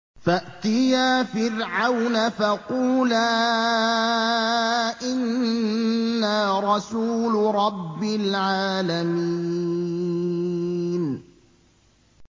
فَأْتِيَا فِرْعَوْنَ فَقُولَا إِنَّا رَسُولُ رَبِّ الْعَالَمِينَ